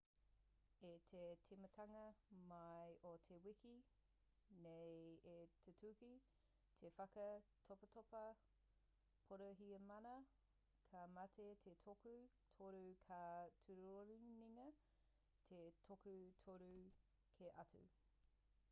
i te timatanga mai o te wiki nei i tūtuki te whaka topatopa porihimana ka mate te toko toru ka tūrorongia te toko toru kē atu